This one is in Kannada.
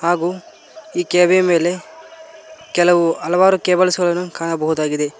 ಹಾಗು ಈ ಕೆ_ವಿ ಮೇಲೆ ಕೆಲವು ಹಲವಾರು ಕೇಬಲ್ಸ್ ಗಳನ್ನು ಕಾಣಬಹುದಾಗಿದೆ.